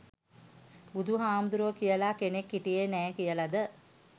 බුදුහාමුදුරුවෝ කියල කෙනෙක් හිටියේ නෑ කියලද?